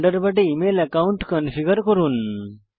থান্ডারবার্ডে email account configure করুন